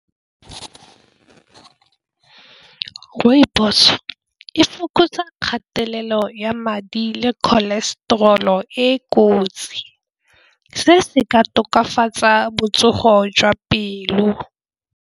Rooibos e fokotsa kgatelelo ya madi le cholesterol-o e kotsi se se ka tokafatsa botsogo jwa pelo.